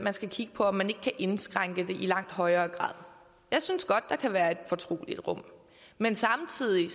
man skal kigge på om man ikke kan indskrænke det i langt højere grad jeg synes godt der kan være et fortroligt rum men samtidig